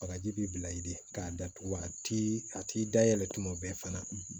Bagaji b'i bila i di k'a datugu a ti a t'i da yɛlɛ tuma bɛɛ fana